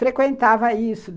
Frequentava isso.